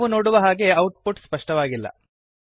ನಾವು ನೋಡುವ ಹಾಗೆ ಔಟ್ ಪುಟ್ ಸ್ಪಷ್ಟವಾಗಿಲ್ಲ